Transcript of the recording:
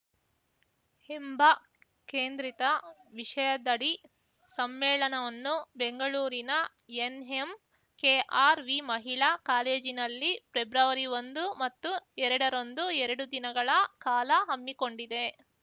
ಎಂಬ ಕೇಂದ್ರಿತ ವಿಷಯದಡಿ ಸಮ್ಮೇಳನವನ್ನು ಬೆಂಗಳೂರಿನ ಎನ್‌ಎಂಕೆಆರ್‌ವಿ ಮಹಿಳಾ ಕಾಲೇಜಿನಲ್ಲಿ ಪ್ರೆಬ್ರವರಿಒಂದು ಮತ್ತು ಎರಡರಂದು ಎರಡು ದಿನಗಳ ಕಾಲ ಹಮ್ಮಿಕೊಂಡಿದೆ